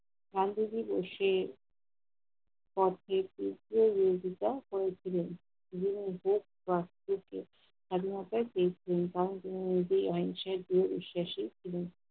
সংবাদিক ও সে তর্কের তীব্র বিরোধিতা করেছিলেন। তিনি নিজের কাছ থেকে স্বাধীনতা পেয়েছিলেন কারণ তিনি নিজেই আইন সাহিত্যে বিশ্বাসী ছিলেন।